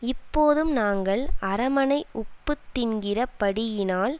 இப்போதும் நாங்கள் அரமனை உப்புத் தின்கிறபடியினால்